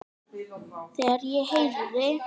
Þegar ég heyrði